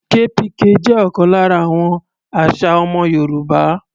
KPK jẹ́ ọ̀kan lára àwọn àṣà ọmọ Yorùbá.